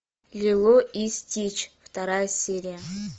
лило и стич вторая серия